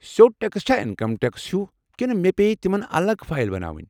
سیوٚد ٹٮ۪کس چھا انکم ٹٮ۪کسس ہِوی کنہٕ مےٚ پیٚیہِ تمن الگ فایل بناوٕنۍ ؟